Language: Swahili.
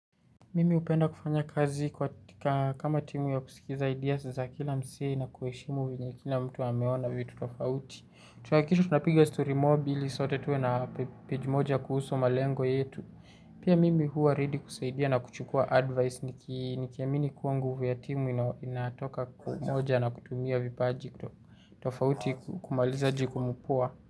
Mimi upenda kufanya kazi kwatika kama timu ya kusikiza ideas za kila msee na kuheshimu venye kila mtu ameona vitu tofauti. Tunahakikisha tunapiga story mob ili sote tuwe na page moja kuhusu malengo yetu. Pia mimi huwa ready kusaidia na kuchukua advice nikiamini kuwa nguvu ya timu inatoka kwa umoja na kutumia vipaji kutofauti kumaliza jukumu poa.